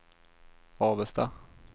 Avesta